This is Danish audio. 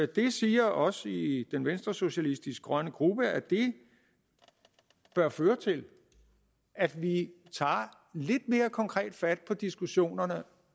det siger os i den venstresocialistiske grønne gruppe at det bør føre til at vi tager lidt mere konkret fat på diskussionerne